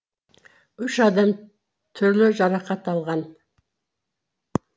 үш адам түрлі жарақат алған